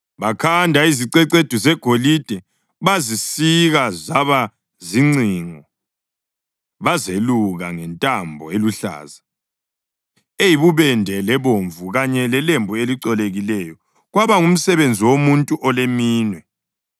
Bakhanda izicecedu zegolide bazisika zaba zincingo bazeluka ngentambo eluhlaza, eyibubende lebomvu, kanye lelembu elicolekileyo, kwaba ngumsebenzi womuntu oleminwe.